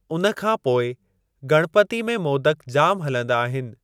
उन खां पोइ गणपती में मोदक जाम हलंदा आहिनि।